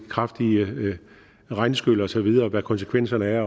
kraftige regnskyl og så videre og hvad konsekvenserne er